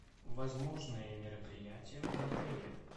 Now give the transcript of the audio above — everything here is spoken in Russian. возможные мероприятия в отеле